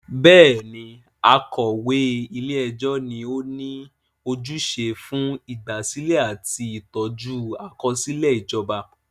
Bẹ́ẹ̀ni, akọ̀wé ilé ẹjọ́ ni ó ní ojúṣe fún ìgbàsílẹ̀ àti ìtọ́jú àkọsílẹ̀ ìjọba.